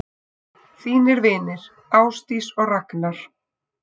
Þínir vinir, Ásdís og Ragnar.